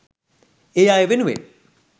ඒ අය වෙනුවෙන්..